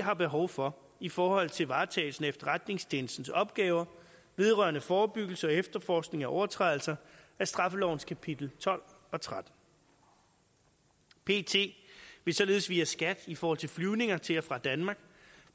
har behov for i forhold til varetagelsen af efterretningstjenestens opgaver vedrørende forebyggelse og efterforskning af overtrædelser af straffelovens kapitel tolv og trettende pet vil således via skat i forhold til flyvninger til og fra danmark